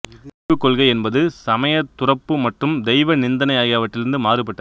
திரிபுக் கொள்கை என்பது சமயத் துறப்பு மற்றும் தெய்வ நிந்தனை ஆகியவற்றிலிருந்து மாறுபட்டது